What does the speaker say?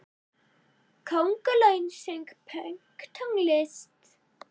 Köngulóin söng pönktónlist!